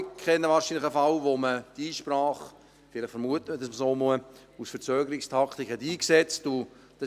Wir alle kennen wahrscheinlich einen Fall, oder vielleicht vermutet man es auch nur, bei dem eine Einsprache aus Verzögerungstaktik eingesetzt wurde.